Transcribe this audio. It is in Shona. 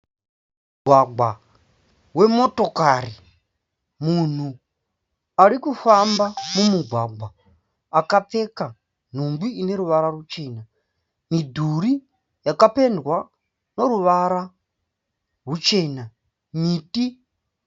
Mugwagwa wemotokari. Munhu ari kufamba mumugwagwa akapfeka nhumbi ine ruvara ruchena. Midhuri yakapendwa neruvara ruchena. Miti.